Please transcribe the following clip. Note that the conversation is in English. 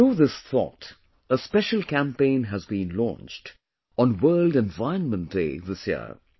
Through this thought, a special campaign has been launched on World Environment Day this year